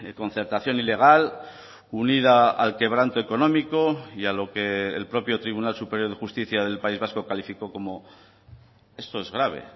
concertación ilegal unida al quebranto económico y a lo que el propio tribunal superior de justicia del país vasco calificó como esto es grave